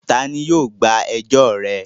Ta ni yóò gba ẹjọ́ rẹ?